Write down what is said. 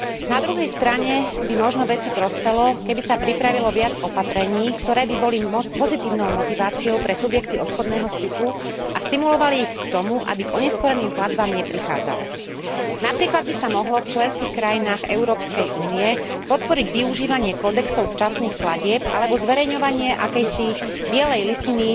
Na druhej strane by možno veci prospelo, keby sa pripravilo viac opatrení, ktoré by boli pozitívnou motiváciou pre subjekty obchodného styku a stimulovali ich k tomu, aby k oneskorením platbám neprichádzalo. Napríklad by sa mohlo v členských krajinách Európskej únie podporiť využívanie kódexov včasných platieb alebo zverejňovanie akejsi bielej listiny